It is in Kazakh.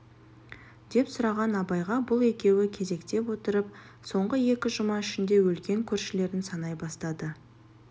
деп сұраған абайға бұл екеуі кезектеп отырып соңғы екі жұма ішінде өлген көршілерін санай бастады